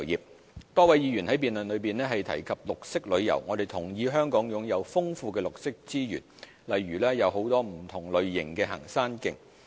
綠色旅遊多位議員在辯論中提及綠色旅遊，我們同意香港擁有豐富的綠色資源，例如有很多不同類型的行山徑。